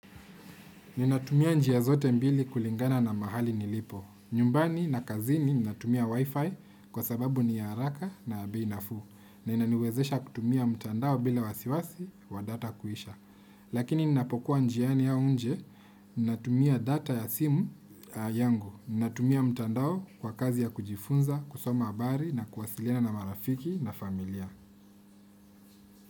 Ninatumia njia zote mbili kulingana na mahali nilipo. Nyumbani na kazini ninatumia wifi kwa sababu ni ya haraka na bei nafuu. Na inaniwezesha kutumia mtandao bila wasiwasi wa data kuisha. Lakini ninapokuwa njiani au nje, ninatumia data ya simu yangu. Ninatumia mtandao kwa kazi ya kujifunza, kusoma habari na kuwasiliana na marafiki na familia.